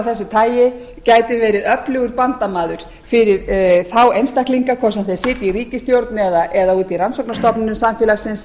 þessu tagi gætu verið öflugur bandamaður fyrir þá einstaklinga hvort sem þeir sitja í ríkisstjórn eða úti í rannsóknarstofnunum samfélagsins